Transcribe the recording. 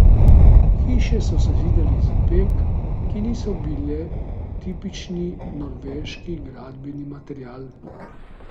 Hiše so sezidali iz opek, ki niso bile tipični norveški gradbeni material.